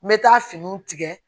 N bɛ taa finiw tigɛ